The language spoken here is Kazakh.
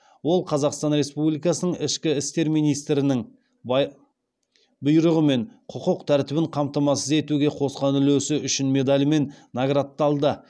ол қазақстан республикасының ішкі істер министрінің бұйрығымен құқық тәртібін қамтамасыз етуге қосқан үлесі үшін медалімен наградталды